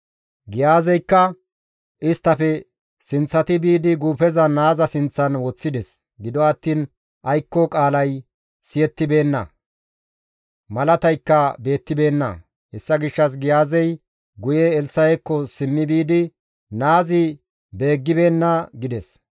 Giyaazeykka isttafe sinththati biidi guufeza naaza sinththan woththides; gido attiin aykko qaalay siyettibeenna; malataykka beettibeenna; hessa gishshas Giyaazey guye Elssa7ekko simmi biidi, «Naazi beeggibeenna» gides.